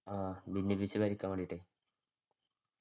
ആഹ് ഭിന്നിപ്പിച്ചു ഭരിക്കാന്‍ വേണ്ടിട്ട്.